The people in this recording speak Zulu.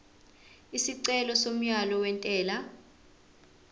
isicelo somyalo wentela